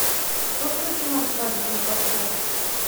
что включено в свадебный пакет